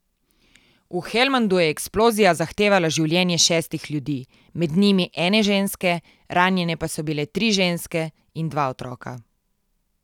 V Helmandu je eksplozija zahtevala življenje šestih ljudi, med njimi ene ženske, ranjene pa so bile tri ženske in dva otroka.